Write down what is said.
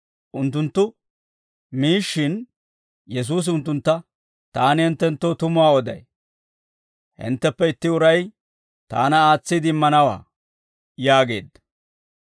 Unttunttu miishshin, Yesuusi unttuntta, «Taani hinttenttoo tumuwaa oday; hintteppe itti uray taana aatsiide immanawaa» yaageedda.